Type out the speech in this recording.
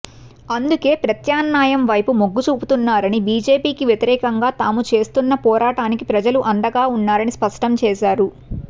అందుకే ప్రత్యామ్నాయం వైపు మొగ్గుచూపుతున్నారని బీజేపీకి వ్యతిరేకంగా తాము చేస్తున్న పోరాటానికి ప్రజలు అండగా ఉన్నారని స్పష్టం చేశారు